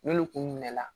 N'olu kun minɛ la